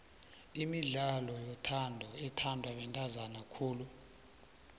imidlalo yothando ithandwa bantazana khulu